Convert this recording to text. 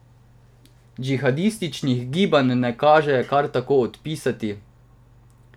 Džihadističnih gibanj ne kaže kar tako odpisati.